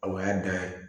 O y'a dan ye